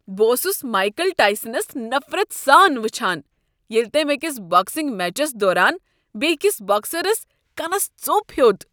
بہٕ اوسُس مایكل ٹایسنس نفرت سان وٕچھان ییٚلہ تمۍ أكِس باكسِنگ میچس دوران بیکس باکسرس كنس ژوٚپ ہیوٚت۔